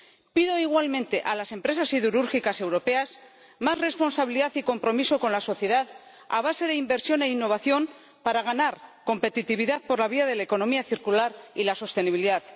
Pido igualmente a las empresas siderúrgicas europeas más responsabilidad y compromiso con la sociedad a base de inversión e innovación para ganar competitividad por la vía de la economía circular y la sostenibilidad.